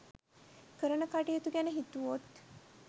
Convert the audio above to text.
කරන කටයුතු ගැන හිතුවොත්.